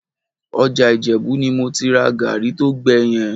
Ọjà Ìjẹ̀bú ni mo ti ra gàárì tó gbẹ yẹn